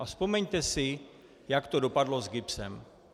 A vzpomeňte si, jak to dopadlo s GIBSem.